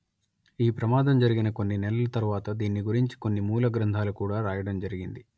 ఈ ప్రమాదం జరిగిన కొన్ని నెలల తర్వాత దీన్ని గురించి కొన్ని మూల గ్రంథాలు కూడా రాయడం జరిగింది